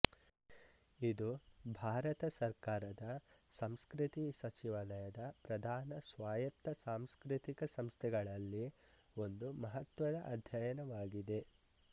ಇದು ಭಾರತ ಸರ್ಕಾರದ ಸಂಸ್ಕೃತಿ ಸಚಿವಾಲಯದ ಪ್ರಧಾನ ಸ್ವಾಯತ್ತ ಸಾಂಸ್ಕೃತಿಕ ಸಂಸ್ಥೆಗಳಲ್ಲಿ ಒಂದು ಮಹತ್ವದ ಅಧ್ಯಯನವಾಗಿದೆ